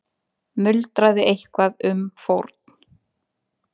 Muldraði eitthvað um fórn.